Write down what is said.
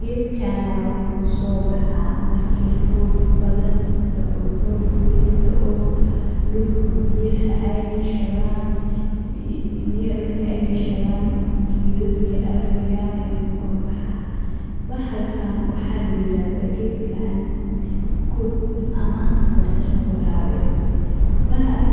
Geedkana wuxu sobaha marki roob badan dao, roob weyn daoo, dulkaa biyaxa aad ugashadan, biyaxa dulka ay qashadan gedadka ay goyan ayu kakorbaxa, bahalkan waxa layirahda geedkan kut ama markima warawet,